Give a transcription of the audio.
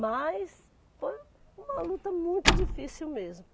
Mas foi uma luta muito difícil mesmo.